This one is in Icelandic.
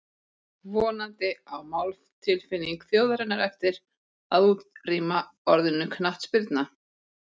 Vonandi á máltilfinning þjóðarinnar eftir að útrýma orðinu knattspyrna.